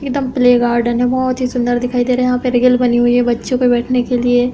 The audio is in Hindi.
एकदम प्ले गार्डन है बहुत ही सुन्दर दिखाई दे रहे है। यहाँ पे रीगल बनी हैं बच्चों को बैठने के लिए --